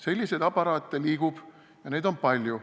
Selliseid aparaate liigub, neid on palju.